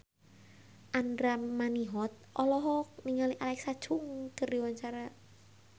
Andra Manihot olohok ningali Alexa Chung keur diwawancara